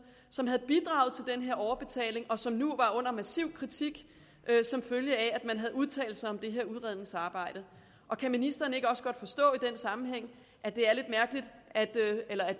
som havde bidraget til den her overbetaling og som nu var under massiv kritik som følge af at man havde udtalt sig om det her udredningsarbejde kan ministeren ikke også godt forstå at det